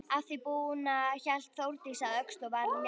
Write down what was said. Að því búnu hélt Þórdís að Öxl og var léttstíg.